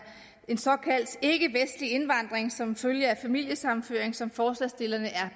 en såkaldt ikkevestlig indvandring som følge af familiesammenføring som forslagsstillerne er